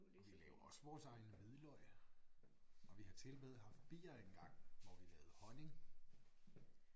Og vi laver også vores egen hvidløg og vi har tilmed haft bier engang hvor vi lavede honning